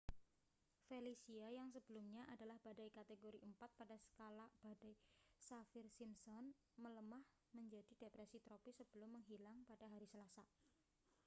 felicia yang sebelumnya adalah badai kategori 4 pada skala badai saffir-simpson melemah menjadi depresi tropis sebelum menghilang pada hari selasa